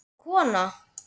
Orðin kona.